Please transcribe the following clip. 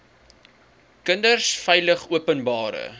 kinders veilig openbare